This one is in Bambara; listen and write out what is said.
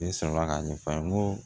Ne sɔrɔla k'a ɲɛfɔ a ye n ko